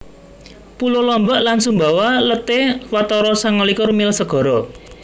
Pulo Lombok lan Sumbawa let é watara sangalikur mil segara